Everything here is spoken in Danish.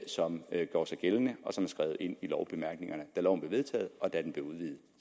som gjorde sig gældende og som blev skrevet ind i lovbemærkningerne da loven blev vedtaget og da den blev udvidet